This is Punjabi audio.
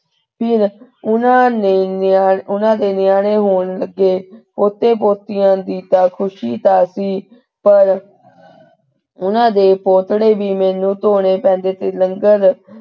ਫਿਰ ਉਹਨਾਂ ਨੇ ਉਹਨਾਂ ਦੇ ਨਿਆਣੇ ਹੋਣ ਲਗੇ। ਪੋਤੇ ਪੋਤਿਆਂ ਦੀ ਤਾ ਖੁਸ਼ੀ ਤਾਂ ਸੀ ਪਰ ਉਹਨਾਂ ਦੇ ਪੋਤੜੇ ਵੀ ਮੈਨੂੰ ਧੋਣੇ ਪੈਂਦੇ ਤੇ ਫਿਰ ,